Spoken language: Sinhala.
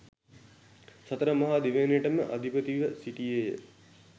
සතර මහා දිවයිනටම අධිපතිව සිටියේය.